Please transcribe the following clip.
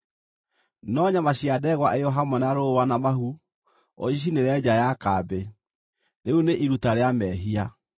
No nyama cia ndegwa ĩyo hamwe na rũũa na mahu ũcicinĩre nja ya kambĩ. Rĩu nĩ iruta rĩa mehia.